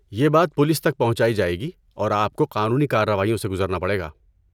یہ بات پولیس تک پہنچائی جائے گی اور آپ کو قانونی کارروائیوں سے گزرنا پڑے گا۔